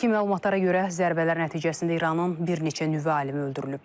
İlkin məlumatlara görə zərbələr nəticəsində İranın bir neçə nüvə alimi öldürülüb.